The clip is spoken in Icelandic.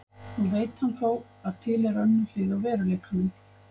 Nú veit hann þó að til er önnur hlið á veruleikanum.